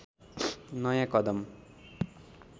नयाँ कदम